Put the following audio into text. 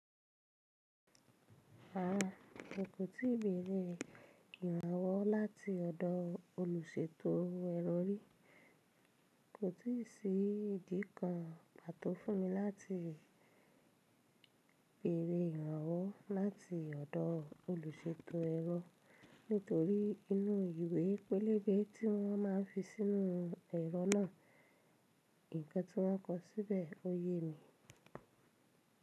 Rárá, ẹ kò tí ì bẹ̀rẹ̀ ìrànwọ́ láti ọ̀dọ̀ olùṣètò èrọ rí. Kò tí ì sí ìdí kan pàtó fún mi láti bẹ̀rẹ̀ ìrànwọ́ láti ọ̀dọ́ olùṣètò èrọ nítorí inú ìwé pélébé tí wọ́n má ń fi sínú ẹ̀rọ náà, nǹkan tí wọ́n kọ síbẹ̀ ò yé mi.